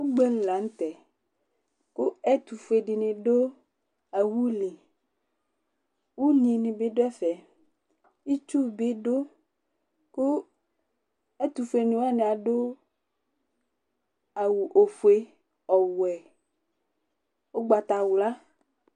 ʋgbɛli lantɛ kʋ ɛtʋƒʋɛ dini dʋ awuli, ʋnyi nibi dʋ ɛƒɛ, itsʋ bidʋ kʋ ɛtʋƒʋɛ ni wani adʋ awʋ ɔƒʋɛ, ɔwɛ, ɔgbatawla